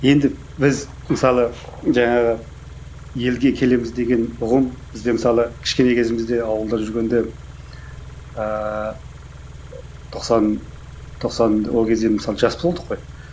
енді біз мысалы жаңағы елге келеміз деген ұғым бізде мысалы кішкене кезімізде ауылда жүргенде ыыы тоқсан тоқсан ол кезде мысалы жас болдық қой